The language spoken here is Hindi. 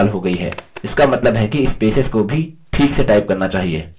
इसका मतलब है कि spaces को भी this से टाइप करना चाहिए